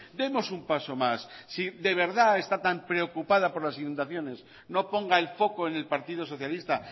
demos un paso más si de verdad está tan preocupada por las inundaciones no ponga el foco en el partido socialista